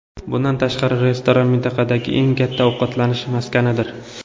Bundan tashqari, restoran mintaqadagi eng katta ovqatlanish maskanidir.